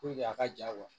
a ka ja